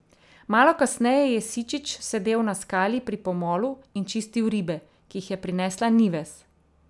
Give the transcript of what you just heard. Malo kasneje je Sičič sedel na skali pri pomolu in čistil ribe, ki jih je prinesla Nives.